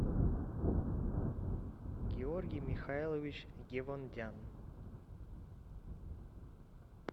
георгий михайлович гевондян